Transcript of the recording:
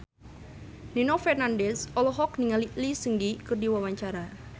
Nino Fernandez olohok ningali Lee Seung Gi keur diwawancara